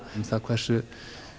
hversu